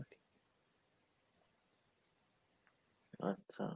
আচ্ছা